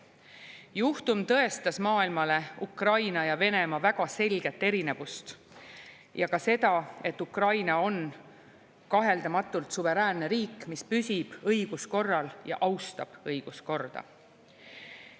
Juhtum tõestas maailmale Ukraina ja Venemaa väga selget erinevust ja ka seda, et Ukraina on kaheldamatult suveräänne riik, mis püsib õiguskorral ja austab õiguskorda.